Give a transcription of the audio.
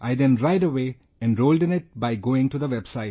I then right away, enrolled in it by going to the website